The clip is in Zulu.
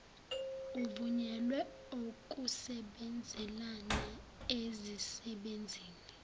avunyelwe okusebenzelana ezisebenzini